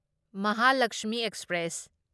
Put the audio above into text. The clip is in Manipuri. ꯃꯍꯥꯂꯛꯁꯃꯤ ꯑꯦꯛꯁꯄ꯭ꯔꯦꯁ